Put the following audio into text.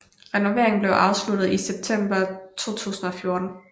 Renoveringen blev afsluttet i september 2014